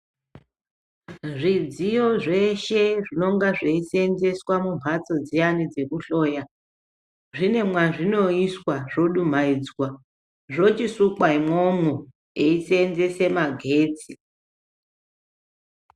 Zvidziyo zveshe zvinonga zveisenzeswa mumhatso dziyani dzokuhloya zvine mwazvinoiswa zvodumaidzwa, zvochisukwa imwomwo eiseenzese magetsi.